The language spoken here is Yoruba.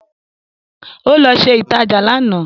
Ó lọ ṣe ìtajà lánàá